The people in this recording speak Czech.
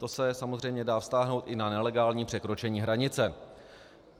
To se samozřejmě dá vztáhnout i na nelegální překročení hranice.